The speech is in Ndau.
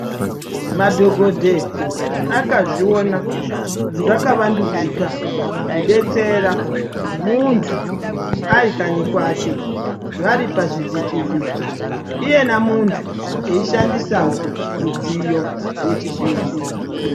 Madhogodheya akazviona zvakavandudzika kudetsera muntu arikanyi kwake varipazvivhiti vhiti iyena muntu eishqndisawo midziyo yechizvino zvino.